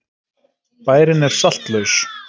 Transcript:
Bærinn er saltlaus.